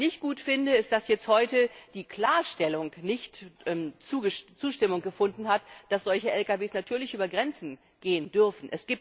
Was ich nicht gut finde, ist, dass heute die Klarstellung nicht Zustimmung gefunden hat, dass solche Lkw natürlich über Grenzen fahren dürfen.